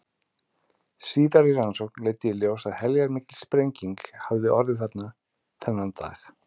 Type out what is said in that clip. Síðari rannsókn leiddi í ljós að heljarmikil sprenging hafði orðið þarna þennan dag.